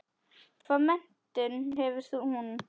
Hvaða menntun hefur hún?